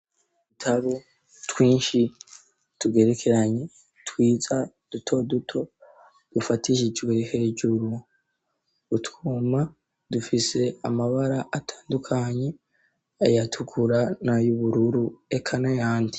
Dutaru twinshi tugerekeranye twiza duto duto dufatishijwe hejuru utwuma dufise amabara atandukanye ayatukura na y'ubururu eka na yandi.